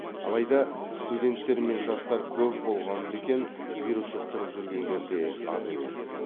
алайда студенттер мен жастар көп болған бе екен вирус жұқтырып жүргендер де аз емес